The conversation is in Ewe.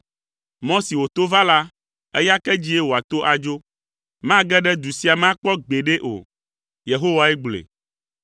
Mɔ si wòto va la, eya ke dzie wòato adzo. Mage ɖe du sia me akpɔ gbeɖe o.” Yehowae gblɔe.